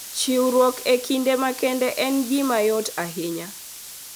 Chiwruok e kinde makende en gima yot ahinya.